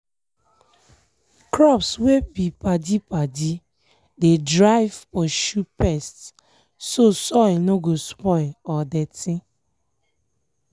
crops wet be padi-padi dey drive pursue pests so soil nor go spoil or dirty.